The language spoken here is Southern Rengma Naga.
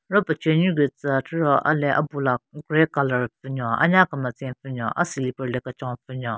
Ro pechenyu gu tsü atero a-le abula grey colour pvu nyon anya kemetsen pvu nyon a silipper le kechon pvu nyon.